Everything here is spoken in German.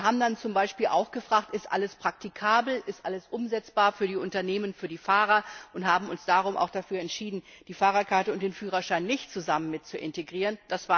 Wir haben dann zum Beispiel auch gefragt, ob alles praktikabel und umsetzbar für die Unternehmen, für die Fahrer ist, und haben uns darum auch entschieden, die Fahrerkarte und den Führerschein nicht zusammen mit zu integrieren.